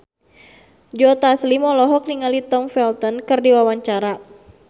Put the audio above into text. Joe Taslim olohok ningali Tom Felton keur diwawancara